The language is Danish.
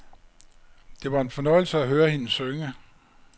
Det var en fornøjelse at høre hende synge.